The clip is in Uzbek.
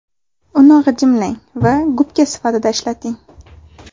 Uni g‘ijimlang va gubka sifatida ishlating.